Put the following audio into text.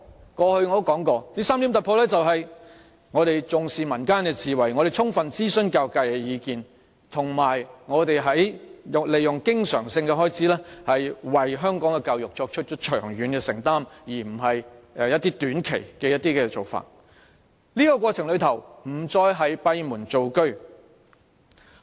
我過往也說過這3點突破是重視民間智慧、充分諮詢教育界的意見，以及透過經常性開支為香港教育作出長遠承擔，而非短期做法，在過程中亦不再閉門造車。